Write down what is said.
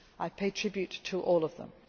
Füle. I pay tribute to all of